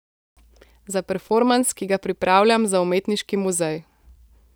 Za performans, ki ga pripravljam za umetniški muzej.